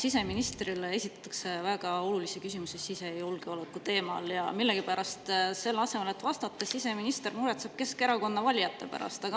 Siseministrile esitatakse väga olulisi küsimusi sisejulgeoleku teemal, aga millegipärast selle asemel, et vastata, siseminister muretseb Keskerakonna valijate pärast.